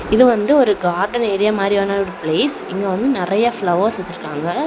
இது வந்து ஒரு கார்டன் ஏரியா மாரியான ஒரு பிளேஸ் இங்க வந்து நறைய ஃப்ளவர்ஸ் வச்சிருக்காங்க.